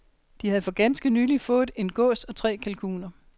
De havde for ganske nylig fået en gås og tre kalkuner.